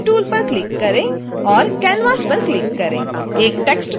तो text tool पर click करें और canvas पर क्लिक करें